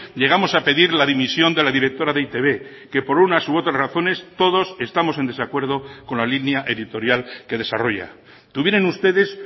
llegamos a pedir la dimisión de la directora de e i te be que por unas u otras razones todos estamos en desacuerdo con la línea editorial que desarrolla tuvieron ustedes